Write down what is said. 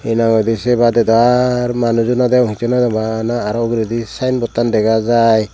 hinanghoide se badey dow arr manujo nodegong hisshu nodegong bana arow sayenbodtan dega jaai.